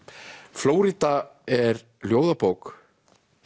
Flórída er ljóðabók